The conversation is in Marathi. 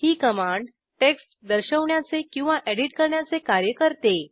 ही कमांड टेक्स्ट दर्शवण्याचे किंवा एडिट करण्याचे कार्य करते